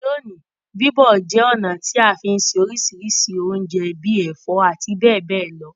Loní, bíbọ̀ je ọ̀nà ti a fi n se orísìrísì ounje bi ẹ̀fó àti béè béè lo